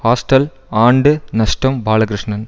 hostel ஆண்டு நஷ்டம் பாலகிருஷ்ணன்